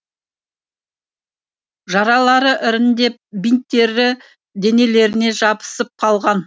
жаралары іріңдеп бинттері денелеріне жабысып қалған